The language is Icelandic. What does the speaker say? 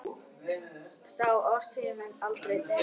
Sá orðstír mun aldrei deyja.